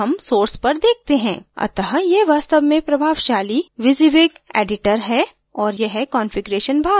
अत: यह वास्तव में प्रभावशाली wysiwyg editor है और यह कंफिगिरेशन भाग है